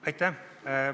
Aitäh!